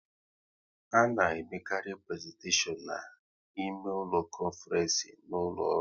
A na emekarị prezentashion na ime ụlọ konfrence n'ụlọ ọrụ